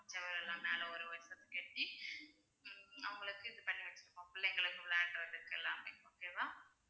செவரெல்லாம் மேல ஒரு கட்டி ஹம் அவங்களுக்கு இது பண்ணி வச்சிருக்கோம் பிள்ளைங்களுக்கு விளையாடுறதுக்கு எல்லாமே okay வா